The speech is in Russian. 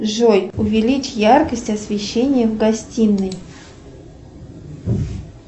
джой увеличь яркость освещения в гостиной